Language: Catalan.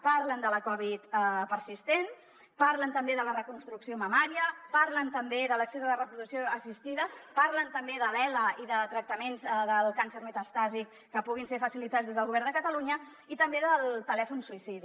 parlen de la covid persistent parlen també de la reconstrucció mamària parlen també de l’accés a la reproducció assistida parlen també de l’ela i de tractaments del càncer metastàtic que puguin ser facilitats des del govern de catalunya i també del telèfon suïcidi